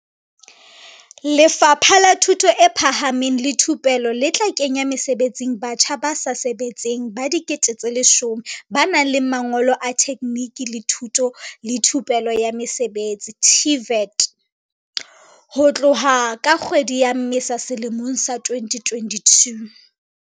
Lefapha la Thuto e Phahameng le Thupelo le tla kenya mesebetsing batjha ba sa sebetseng ba 10 000 ba nang le mangolo a tekgniki le thuto le thupelo ya mosebetsi, TVET, ho tloha ka kgwedi ya Mmesa selemong sa 2022.